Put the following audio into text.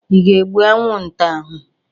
Ị ga-egbu anwụnta ahụ?